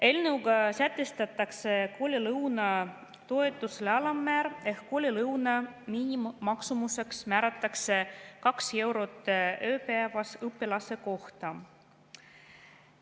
Eelnõuga sätestatakse koolilõunatoetuse alammäär ehk koolilõuna miinimummaksumuseks määratakse kaks eurot ööpäevas õpilase kohta.